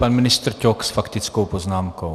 Pan ministr Ťok s faktickou poznámkou.